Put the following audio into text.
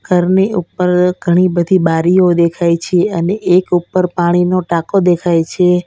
ઘરની ઉપર ઘણી બધી બારીઓ દેખાય છે અને એક ઉપર પાણીનો ટાંકો દેખાય છે.